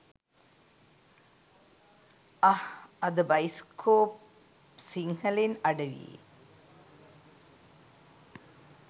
අහ් අද බයිස්කෝප් සිංහලෙන් අඩවියේ